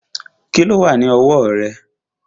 Kíló wà ní ọwọ́ rẹ̀?